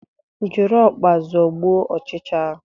Jiri ọkpa zọgbuo ochicha ahu